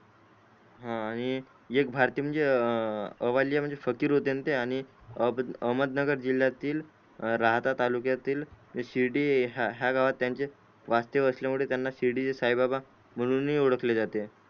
हा आणि एक भारतीय म्हणजे अवाल्य म्हणजे फकीर होतेणा ते आणि अहमदनगर जिल्यातील राहता तालुक्यातील शिर्डी हया गावात त्यांचे वासत्य बसल्या मूळे त्यांना शिर्डीचे साई बाबा म्हणून ही ओडखले जाते.